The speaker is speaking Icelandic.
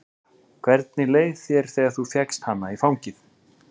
Helga: Hvernig leið þér þegar þú fékkst hana í fangið?